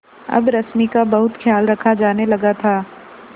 अब रश्मि का बहुत ख्याल रखा जाने लगा था